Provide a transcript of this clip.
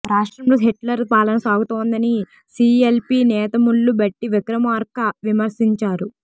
రాష్ట్రంలో హిట్లర్ పాలన సాగుతోందని సీఎల్పీ నేత మల్లు భట్టి విక్రమార్క విమర్శించారు